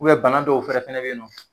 bana dɔw fɛnɛ fɛnɛ bɛ ye nɔ.